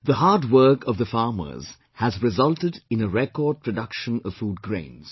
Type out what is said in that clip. The hard work of the farmers has resulted in a record production of food grains